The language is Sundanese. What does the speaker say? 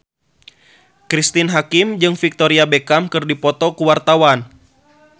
Cristine Hakim jeung Victoria Beckham keur dipoto ku wartawan